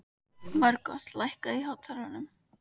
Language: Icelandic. Margot, lækkaðu í hátalaranum.